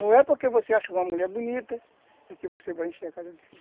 Não é porque você acha uma mulher bonita, que você vai encher a casa do chão.